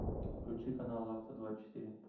включи канал авто двадцать четыре